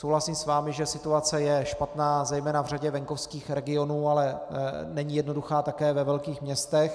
Souhlasím s vámi, že situace je špatná zejména v řadě venkovských regionů, ale není jednoduchá také ve velkých městech.